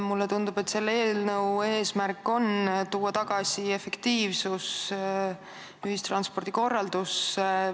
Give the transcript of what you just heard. Mulle tundub, et selle eelnõu eesmärk on tuua tagasi efektiivsus ühistranspordi korraldusse.